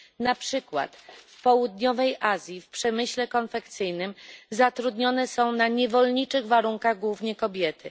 Na przykład w południowej Azji w przemyśle konfekcyjnym zatrudnione są na niewolniczych warunkach głównie kobiety.